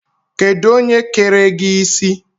Kedụ onye kere gị isi?